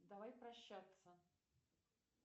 давай прощаться